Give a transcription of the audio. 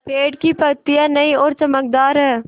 पेड़ की पतियां नई और चमकदार हैँ